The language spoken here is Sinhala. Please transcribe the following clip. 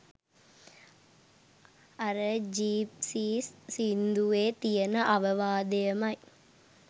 අර ජිප්සීස් සින්දුවේ තියෙන අවවාදයමයි.